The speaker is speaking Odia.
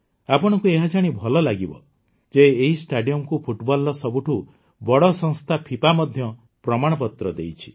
ଆପଣଙ୍କୁ ଏହାଜାଣି ଭଲ ଲାଗିବ ଯେ ଏହି ଷ୍ଟାଡିଅମକୁ ଫୁଟବଲର ସବୁଠୁ ବଡ଼ ସଂସ୍ଥା ଫିଫା ମଧ୍ୟ ପ୍ରମାଣପତ୍ର ଦେଇଛି